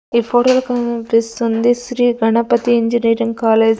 ఇప్పుడే కనిపిస్తుంది Sri Ganapathi engineering college .